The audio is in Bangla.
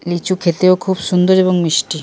লিচু খেতে খুব সুন্দর এবং মিষ্টি।